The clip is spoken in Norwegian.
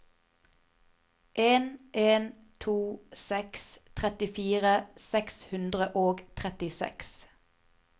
en en to seks trettifire seks hundre og trettiseks